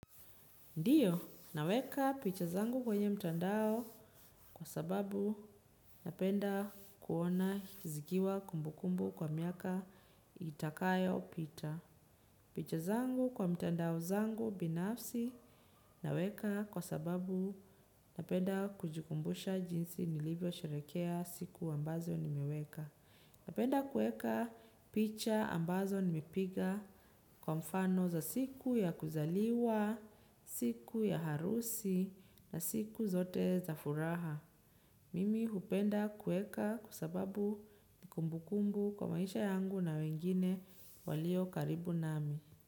Ndiyo, naweka picha zangu kwenye mtandao kwa sababu napenda kuona zikiwa kumbu kumbu kwa miaka itakayopita. Picha zangu kwa mtandao zangu binafsi naweka kwa sababu napenda kujikumbusha jinsi nilivyo sherehekea siku ambazo nimeweka. Napenda kueka picha ambazo nimepiga kwa mfano za siku ya kuzaliwa, siku ya harusi na siku zote za furaha. Mimi hupenda kueka kwa sababu ni kumbukumbu kwa maisha yangu na wengine walio karibu nami.